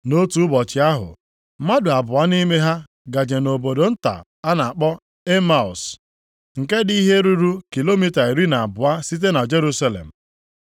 Nʼotu ụbọchị ahụ, mmadụ abụọ nʼime ha gaje nʼobodo nta a na-akpọ Emaus, nke dị ihe ruru kilomita iri na abụọ site na Jerusalem.